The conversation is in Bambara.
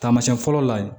Taamasiyɛn fɔlɔ la yen